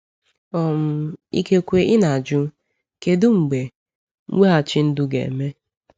um Ikekwe ị na-ajụ: ‘Kedu mgbe mweghachi ndụ ga-eme?’